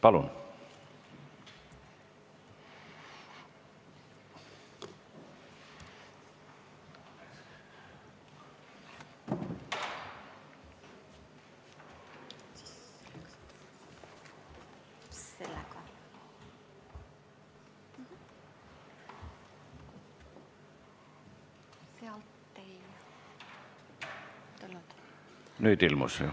Palun!